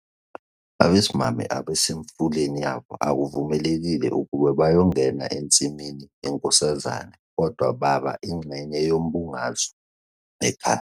Abasimame abasemfuleni yabo akuvumekile ukuba bayongena ensimini yeNkosazane kodwa baba ingxenye yombungazo ekhaya.